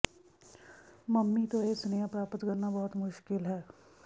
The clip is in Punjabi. ਮੰਮੀ ਤੋਂ ਇਹ ਸੁਨੇਹਾ ਪ੍ਰਾਪਤ ਕਰਨਾ ਬਹੁਤ ਮੁਸ਼ਕਲ ਹੈ